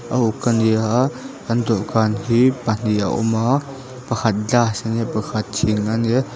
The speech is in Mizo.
a uk a ni a an dawhkan hi pahnih a awm a pakhat glass a ni a pakhat thing a ni a.